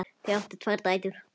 Þau áttu tvær dætur.